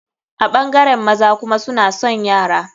A ɓangaren maza kuma suna son yara.